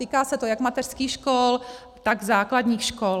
Týká se to jak mateřských škol, tak základních škol.